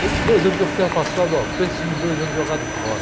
Sei que dois anos que eu fiquei afastado, óh, pense nos dois anos jogado fora.